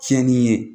Tiɲɛni ye